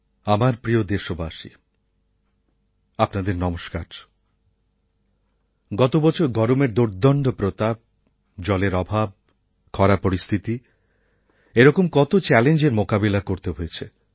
আমার প্রিয় দেশবাসী আপনাদের নমস্কার গতবছর গরমের দোর্দণ্ড প্রতাপ জলের অভাব খরা পরিস্থিতি এরকম কত চ্যালেঞ্জের মোকাবিলা করতে হয়েছে